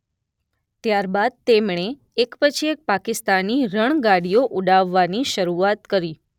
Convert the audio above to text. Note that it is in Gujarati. ત્યારબાદ તેમણે એક પછી એક પાકિસ્તાની રણગાડીઓ ઉડાવવાની શરૂઆત કરી.